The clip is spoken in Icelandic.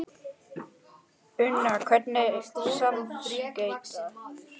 Una, hvernig smakkast?